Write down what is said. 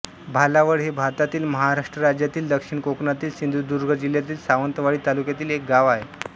भालावळ हे भारतातील महाराष्ट्र राज्यातील दक्षिण कोकणातील सिंधुदुर्ग जिल्ह्यातील सावंतवाडी तालुक्यातील एक गाव आहे